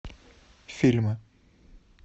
фильмы